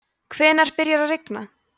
hvenær byrjar að rigna